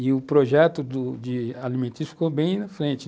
E o projeto do de alimentício ficou bem na frente.